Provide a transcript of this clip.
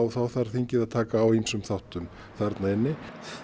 þá þarf þingið að taka á ýmsum þáttum þarna inni